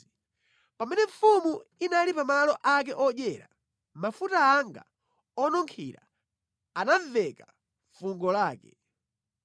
Pamene mfumu inali pa malo ake odyera, mafuta anga onunkhira anamveka fungo lake.